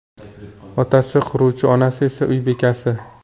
Otasi quruvchi, onasi esa uy bekasi.